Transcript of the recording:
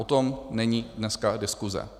O tom není dneska diskuse.